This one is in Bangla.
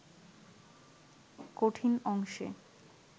কঠিন অংশে